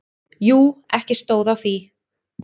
Jú, ekki stóð á því.